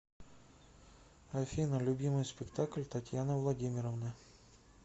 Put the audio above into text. афина любимый спектакль татьяны владимировны